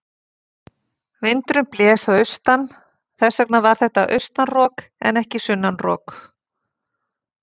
Vindurinn blés að austan, þess vegna var þetta austan rok en ekki sunnan rok.